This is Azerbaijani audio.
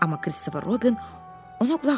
Amma Kristofer Robin ona qulaq asmırdı.